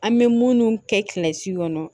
An bɛ munnu kɛ kilasi kɔnɔ